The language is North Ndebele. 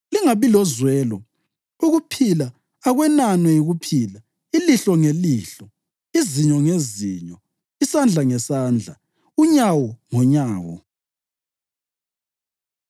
Lingabi lozwelo: ukuphila akwenanwe yikuphila, ilihlo ngelihlo, izinyo ngezinyo, isandla ngesandla, unyawo ngonyawo.”